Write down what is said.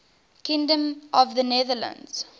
kingdom of the netherlands